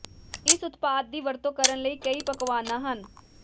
ਇਸ ਉਤਪਾਦ ਦੀ ਵਰਤੋਂ ਕਰਨ ਲਈ ਕਈ ਪਕਵਾਨਾ ਹਨ